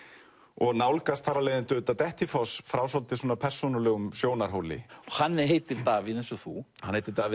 og nálgast þar af leiðandi Dettifoss frá svolítið persónulegum sjónarhóli hann heitir Davíð eins og þú hann heitir Davíð